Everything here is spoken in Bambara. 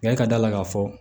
Nka i ka d'a la k'a fɔ